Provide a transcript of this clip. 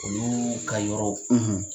Olu ka yɔrɔ